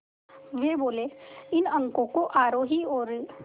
वे बोले इन अंकों को आरोही और